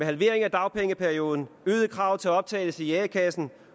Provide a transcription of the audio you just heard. halvering af dagpengeperioden øgede krav til optagelse i a kassen